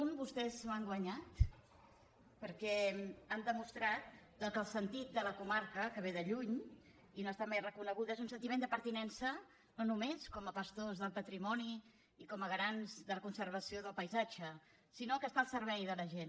un vostès ho han guanyat perquè han demostrat que el sentit de la comarca que ve de lluny i no ha estat mai reconeguda és un sentiment de pertinença no només com a pastors del patrimoni i com a garants de la conservació del paisatge sinó que està al servei de la gent